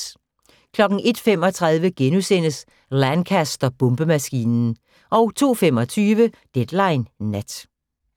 01:35: Lancaster-bombemaskinen * 02:25: Deadline Nat